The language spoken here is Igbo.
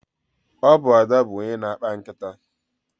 Ọ bụ Ada bụ onye na-akpa nkịta.